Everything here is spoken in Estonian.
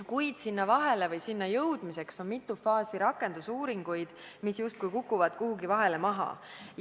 Kuid selleni jõudmiseks on vaja läbi teha mitu faasi rakendusuuringuid, mis justkui kukuvad kuhugi vahele maha.